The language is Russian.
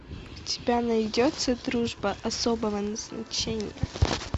у тебя найдется дружба особого назначения